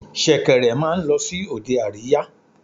Ṣẹ̀kẹ̀rẹ̀ máa ń lọ sí òde àríyá.